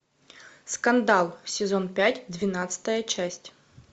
скандал сезон пять двенадцатая часть